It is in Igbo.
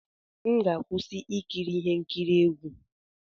M ga-akwụsị ikiri ihe nkiri egwu.